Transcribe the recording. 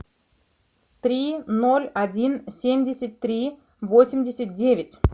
три ноль один семьдесят три восемьдесят девять